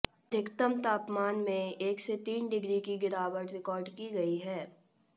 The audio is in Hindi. अधिकतम तापमान में एक से तीन डिग्री की गिरावट रिकार्ड की गई है